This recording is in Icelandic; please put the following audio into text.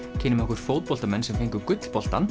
kynnum okkur fótboltamenn sem fengu